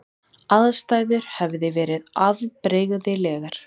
Aðstæður hefði verið afbrigðilegar